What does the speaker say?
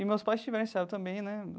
E meus pais tiveram esse hábito também, né?